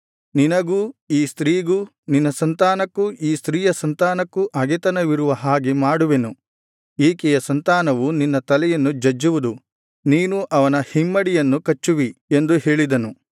ನಿನಗೂ ಈ ಸ್ತ್ರೀಗೂ ನಿನ್ನ ಸಂತಾನಕ್ಕೂ ಈ ಸ್ತ್ರೀಯ ಸಂತಾನಕ್ಕೂ ಹಗೆತನವಿರುವ ಹಾಗೆ ಮಾಡುವೆನು ಈಕೆಯ ಸಂತಾನವು ನಿನ್ನ ತಲೆಯನ್ನು ಜಜ್ಜುವುದು ನೀನು ಅವನ ಹಿಮ್ಮಡಿಯನ್ನು ಕಚ್ಚುವಿ ಎಂದು ಹೇಳಿದನು